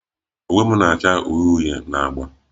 Uwe m na-acha uhie uhie na agba